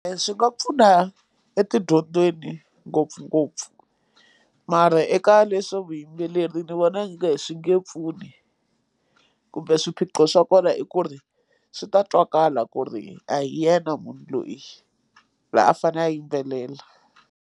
Swi nga pfuna etidyondweni ngopfungopfu mara eka leswa vuyimbeleri ni vona i nge swi nge pfuni kumbe swiphiqo swa kona i ku ri swi ta twakala ku ri a hi yena munhu loyi la a fanele a yimbelela.